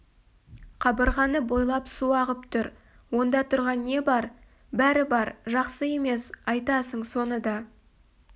қабырғаны бойлап су ағып тұр онда тұрған не бар бәрі бар жақсы емес айтасың соны да